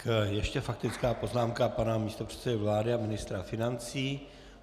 Ještě faktická poznámka pana místopředsedy vlády a ministra financí.